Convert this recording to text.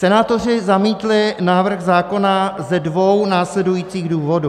Senátoři zamítli návrh zákona ze dvou následujících důvodů.